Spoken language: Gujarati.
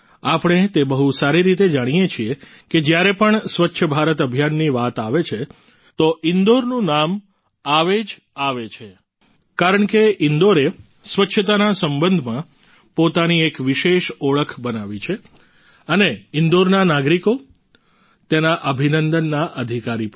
આપણે તે બહુ સારી રીતે જાણીએ છીએ કે જ્યારે પણ સ્વચ્છ ભારત અભિયાનની વાત આવે છે તો ઈન્દોરનું નામ આવે જ આવે છે કારણ કે ઈન્દોરે સ્વચ્છતાના સંબંધમાં પોતાની એક વિશેષ ઓળખ બનાવી છે અને ઈન્દોરના નાગરિકો તેના અભિનંદનના અધિકારી પણ છે